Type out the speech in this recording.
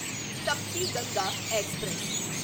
Tapti Ganga express